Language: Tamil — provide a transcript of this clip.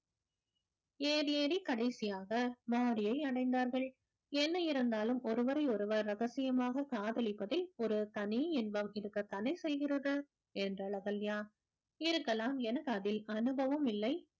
ஏறி ஏறி கடைசியாக மாடியை அடைந்தார்கள் என்ன இருந்தாலும் ஒருவரை ஒருவர் ரகசியமாக காதலிப்பதே ஒரு தனி இன்பம் இருக்கத்தானே செய்கிறது என்றாள் அகல்யா இருக்கலாம் எனக்கு அதில் அனுபவம் இல்லை